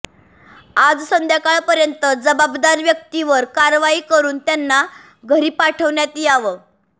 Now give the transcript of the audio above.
आज संध्याकाळपर्यंत जवाबदार व्यक्तींवर कारवाई करून त्यांना घरी पाठवण्यात यावं